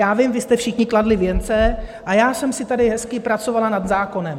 Já vím, vy jste všichni kladli věnce, a já jsem si tady hezky pracovala nad zákonem.